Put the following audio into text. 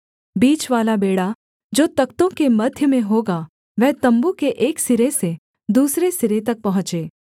बीचवाला बेंड़ा जो तख्तों के मध्य में होगा वह तम्बू के एक सिरे से दूसरे सिरे तक पहुँचे